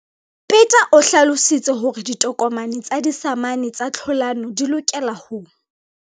Peta o hlalositse hore ditokomane tsa disamane tsa tlhalano di lokela ho.